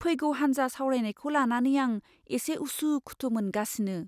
फैगौ हान्जा सावरायनायखौ लानानै आं एसे उसु खुथु मोनगासिनो।